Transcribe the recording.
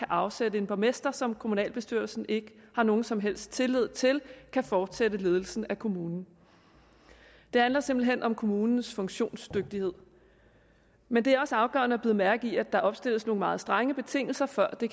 afsætte en borgmester som kommunalbestyrelsen ikke har nogen som helst tillid til kan fortsætte ledelsen af kommunen det handler simpelt hen om kommunens funktionsdygtighed men det er også afgørende at bide mærke i at der opstilles nogle meget strenge betingelser for at det